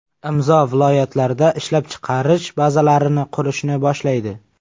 Imzo viloyatlarda ishlab chiqarish bazalarini qurishni boshlaydi.